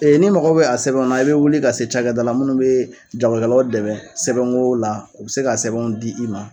n'i mago bɛ a sɛbɛnw na i bɛ wuli ka se cakɛda la minnu bee jagola lɔgɔ dɛmɛ sɛbɛn koo la, u bi se ka sɛbɛn di i ma.